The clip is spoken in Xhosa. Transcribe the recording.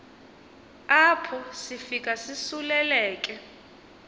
apho sifika sisuleleke